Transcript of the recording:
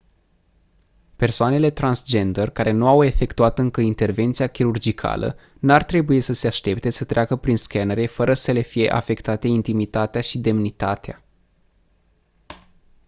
persoanele transgender care nu au efectuat încă intervenția chirurgicală n-ar trebui să se aștepte să treacă prin scanere fără să le fie afectate intimitatea și demnitatea